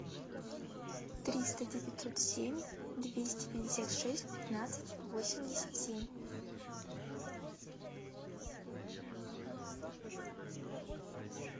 триста девятьсот семь двести пятьдесят шесть пятнадцать восемьдесят семь